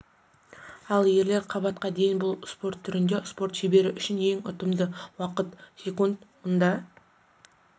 ал ерлер қабатқа дейін бұл спорт түрінде спорт шебері үшін ең ұтымды уақыт секунд мұнда